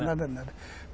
Nada, nada, nada.